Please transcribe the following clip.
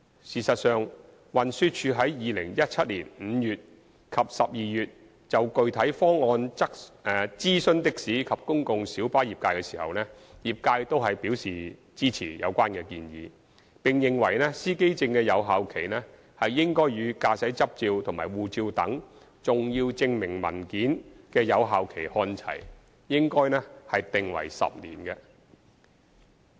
事實上，運輸署在2017年5月及12月就具體方案諮詢的士及公共小巴業界時，業界均表示支持有關建議，並認為司機證的有效期應與駕駛執照和護照等重要證明文件的有效期看齊，應訂為10年。